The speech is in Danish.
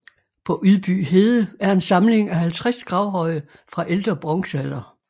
På Ydby Hede er en samling af 50 gravhøje fra ældre bronzealder